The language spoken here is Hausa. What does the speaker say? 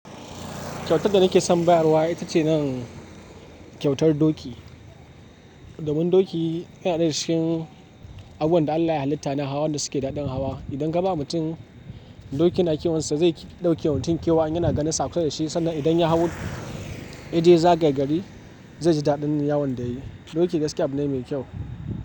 Kyautar da nake son bayarwa ita ce nan kyautar doki. Domin doki yana daya daga cikin abun da Allah ya halitta na hawa wanda suke da daɗin hawa. Idan ka ba mutum doki na kyawunsa, zai ɗauke wantin kyau an yana ganin sa kasada shi sanda idan ya hau, idan ya za gaya gari, zai ji daɗin yawan da yayi. Doki gaskiya abu ne mai kyau.